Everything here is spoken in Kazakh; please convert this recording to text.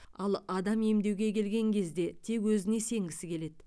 ал адам емдеуге келген кезде тек өзіне сенгісі келеді